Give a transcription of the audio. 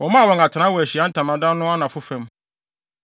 Wɔmaa wɔn atenae wɔ Ahyiae Ntamadan no anafo fam.